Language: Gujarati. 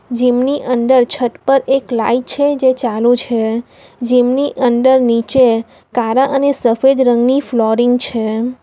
જિમ ની અંદર છત પર એક લાઈટ છે જે ચાલુ છે જિમ ની અંદર નીચે કારા અને સફેદ રંગની ફ્લોરિંગ છે.